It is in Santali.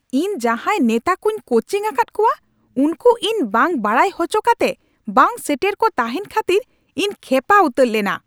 ᱤᱧ ᱡᱟᱸᱦᱟᱭ ᱱᱮᱛᱟ ᱠᱩᱧ ᱠᱳᱪᱤᱝ ᱟᱠᱟᱫ ᱠᱚᱣᱟ ᱩᱱᱠᱩ ᱤᱧ ᱵᱟᱝ ᱵᱟᱰᱟᱭ ᱦᱚᱪᱚ ᱠᱟᱛᱮ ᱵᱟᱝᱼᱥᱮᱴᱮᱨ ᱠᱚ ᱛᱟᱦᱮᱱ ᱠᱷᱟᱹᱛᱤᱨ ᱤᱧ ᱠᱷᱮᱯᱟ ᱩᱛᱟᱹᱨ ᱞᱮᱱᱟ ᱾